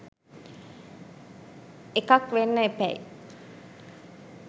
එකක් වෙන්න එපැයි.